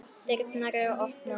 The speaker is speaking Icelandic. Dyrnar eru opnar.